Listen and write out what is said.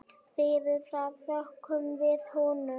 Fyrir það þökkum við honum.